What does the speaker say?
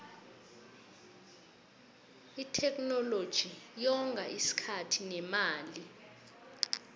itheknoloji yonga isikhathi nemali